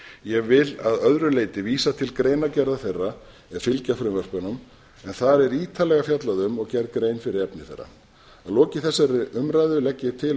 ég vil að öðru leyti vísa til greinargerða þeirra er fylgja frumvörpunum en þar er ítarlega fjallað um og gerð grein fyrir efni þeirra að lokinni þessari umræðu legg ég til